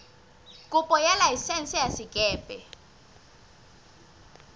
kopo ya laesense ya sekepe